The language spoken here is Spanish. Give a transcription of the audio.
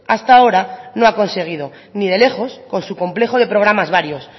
hasta ahora no ha conseguido ni de lejos con su complejo de programas varios